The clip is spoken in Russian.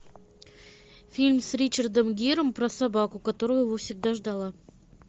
фильм с ричардом гиром про собаку которая его всегда ждала